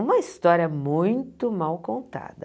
Uma história muito mal contada.